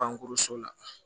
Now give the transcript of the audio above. Pankuruso la